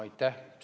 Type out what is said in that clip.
Aitäh!